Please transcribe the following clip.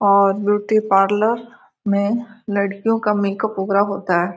और beauty parlour में लड़कियों का मेकअप वैगरह होता है।